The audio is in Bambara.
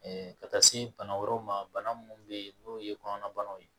ka taa se bana wɛrɛw ma bana minnu bɛ yen n'o ye kɔnɔnabanaw ye